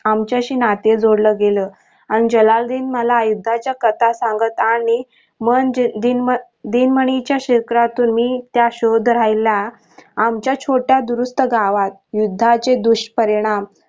आमच्याशी नाते जुडलं गेल आणि जलाल्लुद्धीन मला युद्धाची कथा सांगत आणि मन दिन मनीच्या क्षेत्रात मी त्या शोध राहिला आमच्या छोटा दुरस्त गावात युद्धाचे दुष्परिणाम